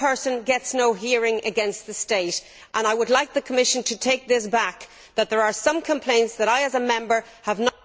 The small person gets no hearing against the state, and I would like the Commission to take this back that there are some complaints which I, as a Member, have not